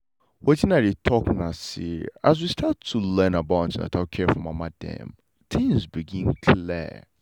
wetin i dey talk na say as we start to learn about an ten atal care for mama dem things begin clear.